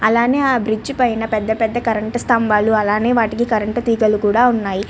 అలానే ఆ బ్రిడ్జి పైన పెద్ద పెద్ద కరెంటు స్తంభాలు అలానే వాటికి కరెంట్ తీగలు కూడా ఉన్నాయి.